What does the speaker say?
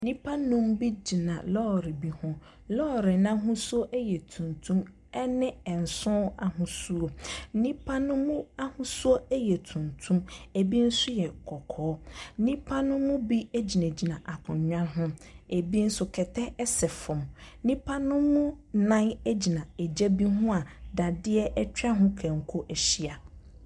Nnipa nnum bi gyina lɔɔre bi ho, lɔɔre n’ahosuo yɛ tuntum ne nson ahosuo, nnipa ne mu ahosu yɛ tuntum, bi nso yɛ kɔkɔɔ. Nnipa ne mu bi gyinagyina akonnwa ho, bi nso kɛtɛ sɛ famu. Nnipa ne mu nnan gyina gya bi ho a dadeɛ atwa ho kanko ahyia.